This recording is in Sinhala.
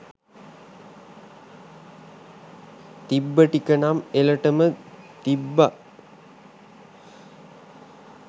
තිබ්බ ටිකනම් එලටම තිබ්බා